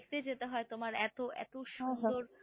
দেখতে যেতে হয় এত এত সুন্দর,